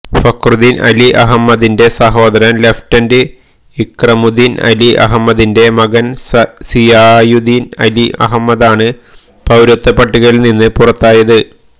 ഫക്രുദ്ദീന് അലി അഹമ്മദിന്റെ സഹോദരന് ലഫ്റ്റനന്റ് ഇക്രമുദ്ദീന് അലി അഹമ്മദിന്റെ മകന് സിയാദുദ്ദീന് അലി അഹമ്മദാണ് പൌരത്വപട്ടികയില് നിന്ന് പുറത്തായത്